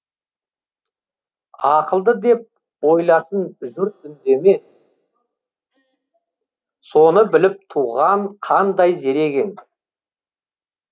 ақылды деп ойласын жұрт үндеме соны біліп туған қандай зерек ең